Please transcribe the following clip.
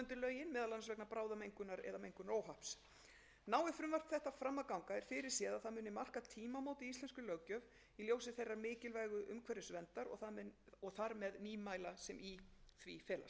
að ganga er fyrir séð að það muni marka tímamót í íslenskri löggjöf í ljósi þeirrar mikilvægu umhverfisverndar og þar með nýmæla sem í því felast virðulegur forseti ég hef rakið